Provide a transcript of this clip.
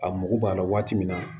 A mago b'a la waati min na